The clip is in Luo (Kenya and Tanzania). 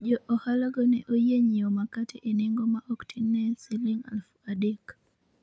jo ohalago ne oyie nyiewo makate e nengo ma ok tin' ne shiling alufu adek